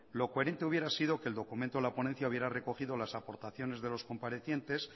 lo coherente hubiera sido que el documento a la ponencia hubiera recogido las aportaciones de los comparecientes